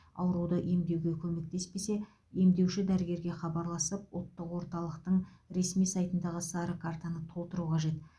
ауруды емдеуге көмектеспесе емдеуші дәрігерге хабарласып ұлттық орталықтың ресми сайтындағы сары картаны толтыру қажет